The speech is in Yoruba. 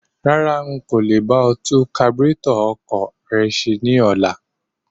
Rárá,n kò le bá ọ tún kaburétọ̀ ọkọ̀ rẹ ṣe ní ọlá.